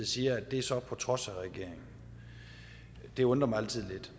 siger sker på trods af regeringen det undrer mig altid